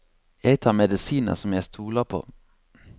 Jeg tar medisiner som jeg stoler på.